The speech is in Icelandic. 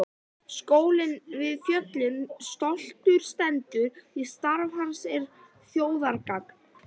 Skólinn við fjöllin stoltur stendur því starf hans er þjóðargagn.